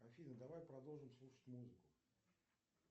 афина давай продолжим слушать музыку